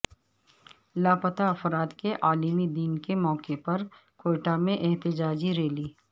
لاپتہ افراد کے عالمی دن کے موقعے پر کوئٹہ میں احتجاجی ریلی